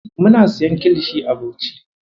Muna siyan kilishi a Bauchi.